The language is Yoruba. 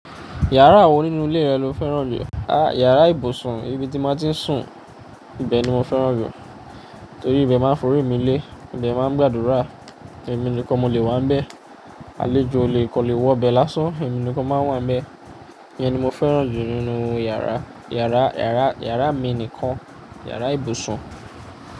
Yàrá wo nínú ilé rẹ lo fẹ́ràn jù? Iyàrá ibùsùn, ibi tí mo ti ń sùn, ibẹ̀ ni mo fẹ́ràn jù. Torí ìbẹ̀ ni máa ń forí mi lé, mo de máa ń gbàdúrà, èmi nìkan mo le wà níbẹ̀. Àlejò o le kan le wọ bẹ̀ lásán, èmi nìkan ni máa wà níbẹ̀. Iyẹn ni mo fẹ́ràn jù nínú iyàrá, yàrá, yàrá, iyàrá mi nìkan, yàrá ibùsùn.